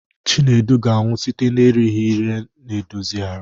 Chinedu ga-anwụ site na-erighị ihe na-edozi ahụ.